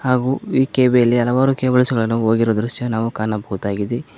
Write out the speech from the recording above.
ಹಾಗು ಈ ಕೆ_ಬಿ ಮೇಲೆ ಹಲವಾರು ಕೇಬಲ್ಸ್ ಗಳನ್ನು ಹೋಗಿರುವ ದೃಶ್ಯ ನಾವು ಕಾಣಬಹುದಾಗಿದೆ.